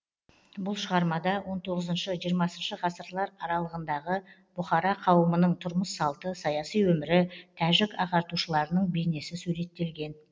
бұл шығармада он тоғызыншы жиырмасыншы ғасырлар аралығындағы бұхара қауымының тұрмыс салты саяси өмірі тәжік ағартушыларының бейнесі суреттелген